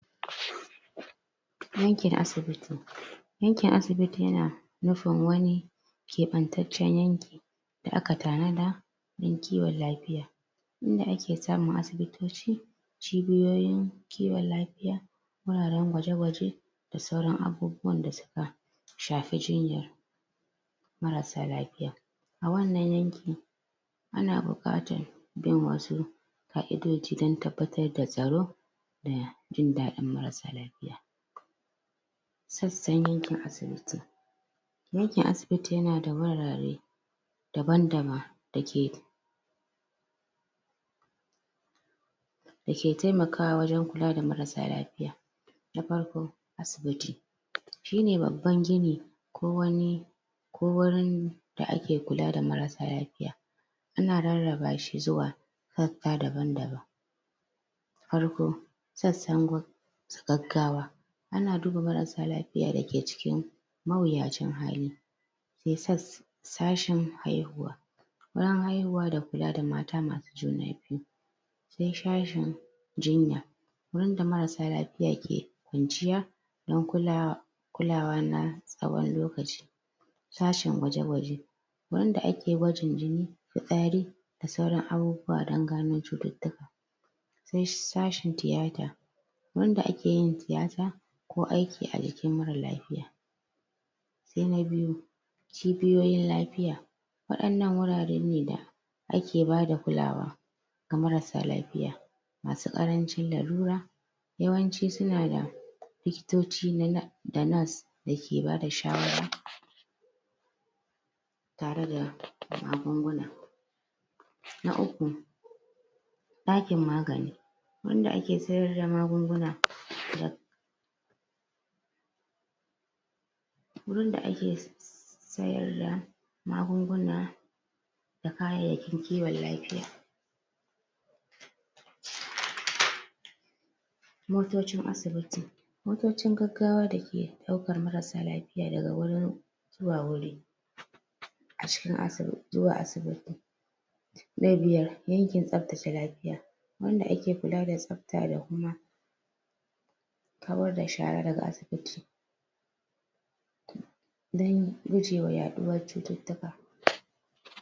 aikin asibiti aikin asibiti ya na nufin wani keɓantaccen yanki da aka tanada dan kiwon lafiya inda ake samun asibitoci cibiyoyin kiwon lafiya wuraren gwaje gwaje da sauran abubuwanda suka shafi jinyar marasa lafiya a wannan yanki ana buƙatar? ƙa'idoji dan tabbatar da tsaro da jin dadin marasa lafiya sassan yankin asibiti yankin asibiti yana da wurare daban daban da ke da ke taimakawa wajen kula da marasa lafiya na farko asibiti shi ne babban gini ko wani ko wurin da ake kula da marasa lafiya ana rarra ba shi zuwa sassa daba daban farko sassan gun da gaggawa ana duba marasa lafiya dake cikin mawuyacin hali sai sas sashen haihuwa bayan haihuwa da kula da mata masu juna biyu sai shashen jinya wanda marasa lafiya ke kwanciya dan kula kulawa na tsawon lokaci sashen gwaje gwaje anda ake gwajin jini fitsari da sauran abubuwa dan gano cututtuka sai sashen tiyata wanda ake yin tiyata ko aiki a jikin marar lafiya sai na biyu cibiyoyin lafiya waɗannan wurare ne da ake bada kulawa ga marasa lafiya masu ƙarancin larura yawanci suna da likitoci na da nas da ke ba da shawara tare da magunguna na uku ɗakin magani wanda ake sayar da magunguna da wurin da ake sayar da magunguna da kayayyakin kiwon lafiya? motocin asibiti motocin gaggawa da ke ɗaukar marasa lafiya daga wurin zuwa wuri cikin asib zuwa asibiti na biyar yankin tsaftace lafiya wanda ake kula da tsafta da kuma kawar da shara daga asibiti dan gujewa yaɗuwar cututtuka